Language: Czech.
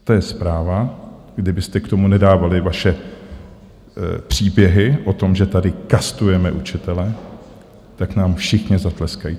To je zpráva, kdybyste k tomu nedávali vaše příběhy o tom, že tady kastujeme učitele, tak nám všichni zatleskají.